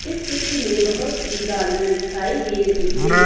इस चित्र में बहुत सी गाड़ियां दिखाई दे रही हैं।